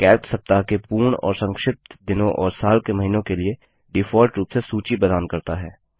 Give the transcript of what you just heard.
Calc सप्ताह के पूर्ण और संक्षिप्त दिनों और साल के महीनों के लिए डिफॉल्ट रूप से सूची प्रदान करता है